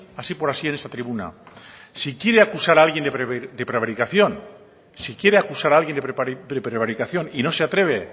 así por así en esta tribuna si quiere acusar a alguien de prevaricación si quiere acusar a alguien de prevaricación y no se atreve